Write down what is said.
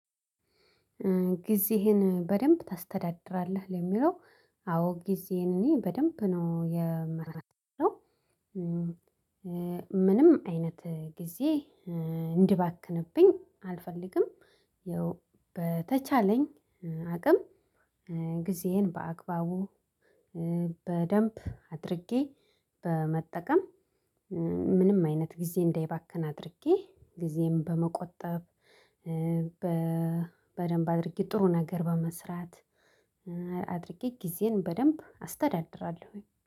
ጊዜህን በደንብ ታስተዳድራለህ? ለሚለው አዎ ጊዜዬን እኔ በደንብ ነው የመረ ምንም አይነት ጊዜ እንድባክንብኝ አልፈልግም። ያው በተቻለኝ አቅም ጊዜዬን በአግባቡ በደንብ አድርጌ በመጠቀም ምንም አይነት ጊዜ እንዳይባክን አድርጌ ጊዜን በመቆጠብ በ በደንብ አድርጌ ጥሩ ነገር በመስራት አድርጌ ግዜዬን በደንብ አስተዳድራለው።